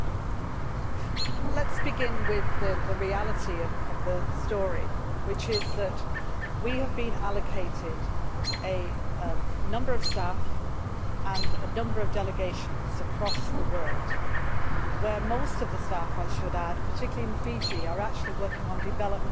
Let us begin with the reality of the story, which is that we have been allocated a number of staff and a number of delegations across the world, where most of the staff I should add, and particularly in Fiji are actually working on development across the region.